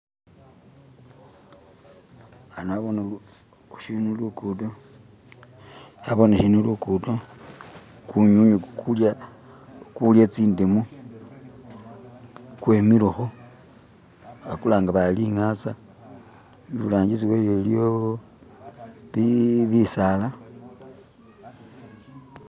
ano bona shilimu lukudo naboneho lukudo kinywinywi kulya tsindemu kwemileho bakulanga bali lingasa iburangisi wayo iliyo bisaala